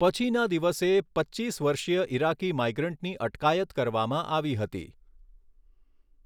પછીના દિવસે, પચ્ચીસ વર્ષીય ઇરાકી માઇગ્રન્ટની અટકાયત કરવામાં આવી હતી.